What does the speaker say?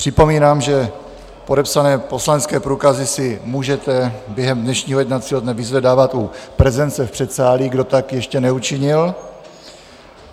Připomínám, že podepsané poslanecké průkazy si můžeme během dnešního jednacího dne vyzvedávat u prezence v předsálí, kdo tak ještě neučinil.